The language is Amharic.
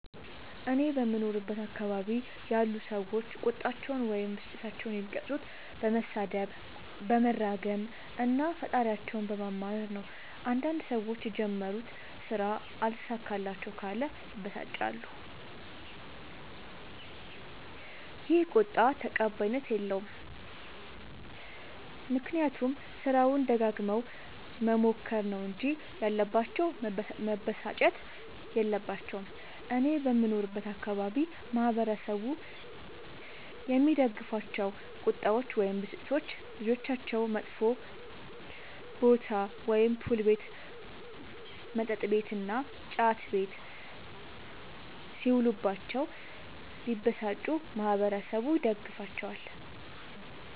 እኔ በምኖርበት አካባቢ ያሉ ሠዎች ቁጣቸዉን ወይም ብስጭታቸዉን የሚገልፁት በመሣደብ በመራገም እና ፈጣሪያቸዉን በማማረር ነዉ። አንዳንድ ሠዎች የጀመሩት ስራ አልሣካላቸዉ ካለ ይበሳጫሉ ይ። ይህ ቁጣ ተቀባይኀት የለዉም። ምክንያቱም ስራዉን ደጋግመዉ መሞከር ነዉ እንጂ ያለባቸዉ መበሳጨት የለባቸዉም። እኔ በምኖርበት አካባቢ ማህበረሰቡ የሚደግፋቸዉ ቁጣዎች ወይም ብስጭቶች ልጆቻቸዉ መጥፌ ቦታ[ፑል ቤት መጥ ቤት እና ጫት ቤት ]ሢዉሉባቸዉ ቢበሳጩ ማህበረሠቡ ይደግፋቸዋል።